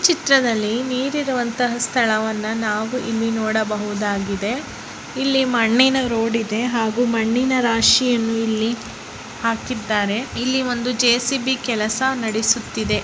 ಚಿತ್ರದಲ್ಲಿ ನೀರು ಇರುವಂತಹ ಸ್ಥಳವನ್ನು ನಾವು ಇಲ್ಲಿ ನೋಡಬಹುದಾಗಿದೆ ಇಲ್ಲಿ ಮಣ್ಣಿನ ರೋಡ್ ಇದೆ ಹಾಗು ಮಣ್ಣಿನ ರಾಶಿಯನ್ನು ಇಲ್ಲಿ ಹಾಕಿದ್ದಾರೆ ಇಲ್ಲಿ ಒಂದು ಜೆ_ಸಿ_ಬಿ ಕೆಲಸ ನಡೆಸುತ್ತಿದೆ.